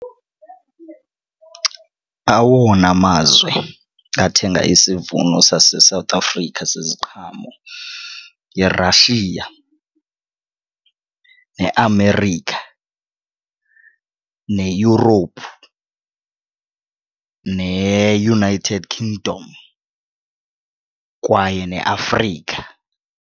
Awona mazwe athenga isivuno saseSouth Africa seziqhamo yiRussia neAmerica neEurope neUnited Kingdom kwaye neAfrika.